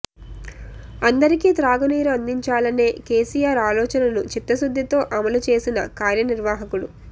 అందరికి త్రాగునీరు అందించాలనే కెసిఆర్ అలోచనను చిత్తశుద్ధితో అమలు చేసిన కార్యనిర్వాహకుడు